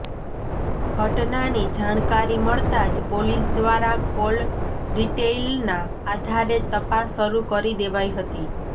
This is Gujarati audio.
ઘટનાની જાણકારી મળતાં જ પોલીસ દ્વારા કોલ ડિટેઈલના આધારે તપાસ શરૂ કરી દેવાઈ હતી